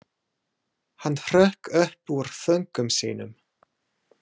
Hann hrökk upp úr þönkum sínum.